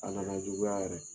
A kana juguya yɛrɛ